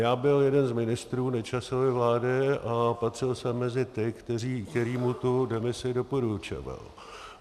Já byl jeden z ministrů Nečasovy vlády a patřil jsem mezi ty, kteří mu tu demisi doporučovali.